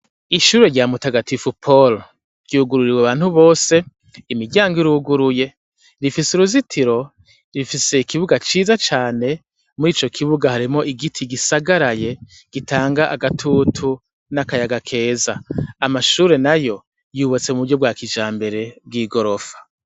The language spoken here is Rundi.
Ishure rya mutagatifu palo ryugururiwe abantu bose imiryango iruguruye rifise uruzitiro rifise ikibuga ciza cane muri ico kibuga haremo igiti gisagaraye gitanga agatutu n'akayaga keza amashure na yo yubatse mu buryo bwa kija mbere bw'i gorofa.